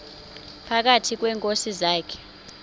phakathi kweenkosi zakhe